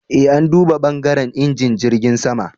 E, an duba *bangaren injin jirgin sama.